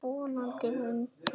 Vonandi vinnum við hann.